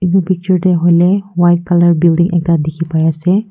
edu picture de hoile white color building ekta dikhi pai ase.